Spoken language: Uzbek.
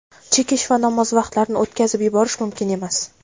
chekish va namoz vaqtlarini o‘tkazib yuborish mumkin emas.